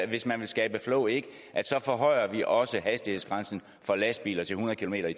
hvis man vil skabe flow at så forhøjer vi også hastighedsgrænsen for lastbiler til hundrede kilometer